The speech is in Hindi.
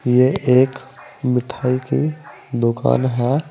ये एक मिठाई की दुकान है।